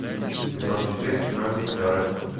сезон четыре кино визитеры